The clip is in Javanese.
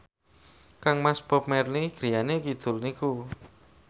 kangmas Bob Marley griyane kidul niku